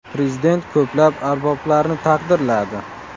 Prezident ko‘plab arboblarni taqdirladi.